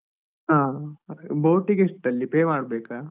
ಹಾ, boat ಗೆ ಎಷ್ಟಲ್ಲಿ pay ಮಾಡ್ಬೇಕಾ?